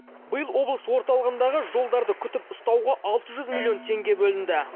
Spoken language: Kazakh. биыл облыс орталығындағы жолдарды күтіп ұстауға алты жүз миллион теңге бөлінді